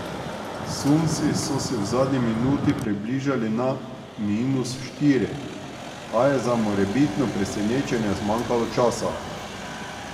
Sunsi so se v zadnji minuti približali na minus štiri, a je za morebitno presenečenje zmanjkalo časa.